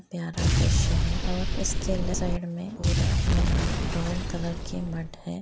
प्यारा द्रश्य है और उसके साईंड में पूरा अ ब्राउन कलर की मड हैं।